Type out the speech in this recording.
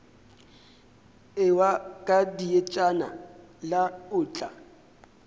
ewa ka dietšana la otla